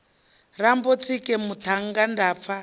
rambo tsike muṱhannga nda pfa